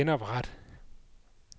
genopret